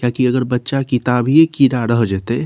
किया की अगर बच्चा किताबीए कीड़ा रह जेएते --